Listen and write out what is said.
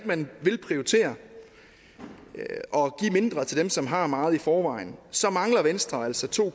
man ikke vil prioritere og give mindre til dem som har meget i forvejen så mangler venstre altså to